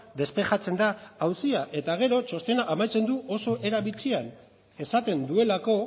despejatzen da auzia eta gero txostena amaitzen du oso era bitxian esaten duelako